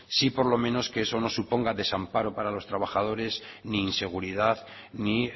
sí por lo menos que eso no suponga desamparo para los trabajadores ni inseguridad ni